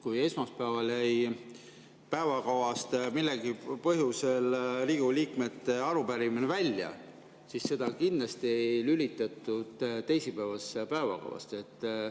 Kui esmaspäeval jäi mingil põhjusel Riigikogu liikmete arupärimine päevakavast välja, siis seda kindlasti ei lülitatud teisipäevasesse päevakavasse.